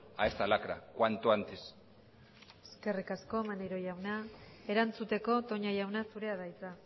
a esta lacra cuanto antes eskerrik asko maneiro jauna erantzuteko toña jauna zurea da hitza